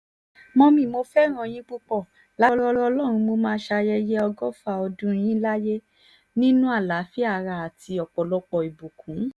mọ́mì mo fẹ́ràn yín púpọ̀ lágbára ọlọ́run mo máa ṣayẹyẹ ọgọ́fà ọdún yín láyé nínú àlàáfíà ara àti ọ̀pọ̀lọpọ̀ ìbùkún